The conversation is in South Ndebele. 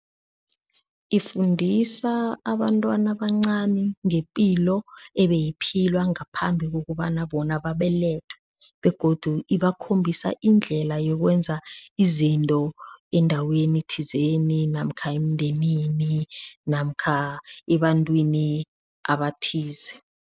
Ifundisa abantwana abancani ngepilo ebeyiphilwa ngaphambi kokobana bona babelethwe begodu ibakhombisa indlela yokwenza izinto endaweni thizeni namkha emndenini namkha ebantwini abathize.